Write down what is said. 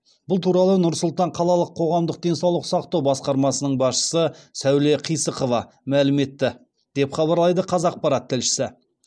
бұл туралы нұр сұлтан қалалық қоғамдық денсаулық сақтау басқармасының басшысы сәуле қисықова мәлім етті деп хабарлайды қазақпарат тілшісі